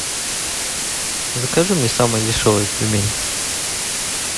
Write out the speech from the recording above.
закажи мне самые дешевые пельмени